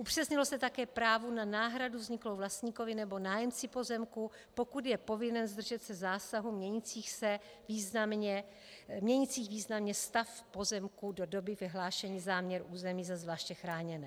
Upřesnilo se také právo na náhradu vzniklou vlastníkovi nebo nájemci pozemku, pokud je povinen zdržet se zásahů měnících významně stav pozemku do doby vyhlášení záměru území za zvláště chráněné.